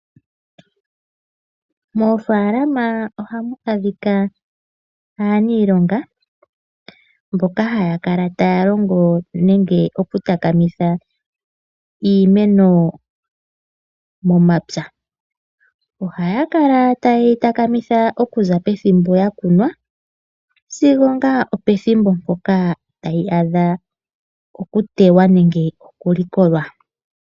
Moofaalama ohamu adhika aaniilonga mboka haya kala taya longo nenge okutakamitha iilonga momapya ohaya kala taye yi takamitha okuza pethimbo ya kunwa sigo opethimbo mpoka tayi adha okutewa nenge okulikolwa.